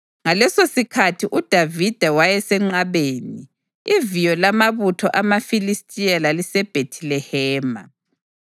Ngalesosikhathi uDavida wayesenqabeni, iviyo lamabutho amaFilistiya laliseBhethilehema.